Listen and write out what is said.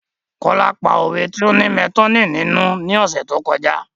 Kola pa òwe ti o ní metonymi nínú ni ọ̀sẹ̀ tó kọjá